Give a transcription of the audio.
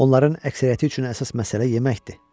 Onların əksəriyyəti üçün əsas məsələ yeməkdir.